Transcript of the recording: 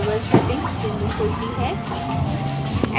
label settings window खुलती है